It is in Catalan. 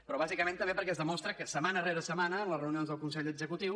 però bàsicament també perquè es demostra que setmana rere setmana en les reunions del consell executiu